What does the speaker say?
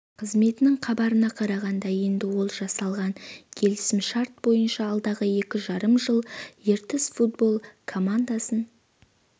қызметінің хабарына қарағанда енді ол жасалған келісімшарт бойынша алдағы екі жарым жыл ертіс футбол командасын